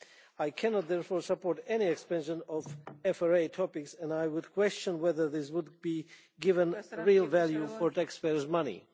I cannot, therefore, support any expansion of FRA topics and I would question whether this would be given real value for taxpayers' money.